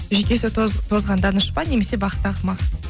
жүйкесі тозған данышпан немесе бақытты ақымақ